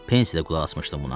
Pensdə qulaq asmışdım buna.